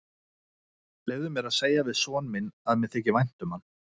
Leyfðu mér að segja við son minn að mér þyki vænt um hann.